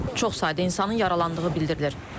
Çox sayda insanın yaralandığı bildirilir.